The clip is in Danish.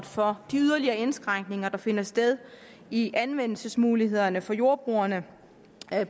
for de yderligere indskrænkninger der finder sted i anvendelsesmulighederne for jordbrugerne